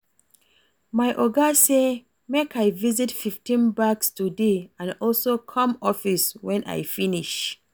My Oga say make I visit fifteen banks today and also come office wen I finish